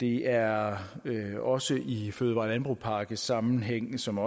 er også i i fødevare og landbrugspakkesammenhæng som